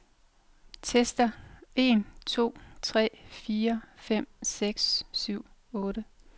Tester en to tre fire fem seks syv otte.